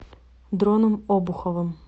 дроном обуховым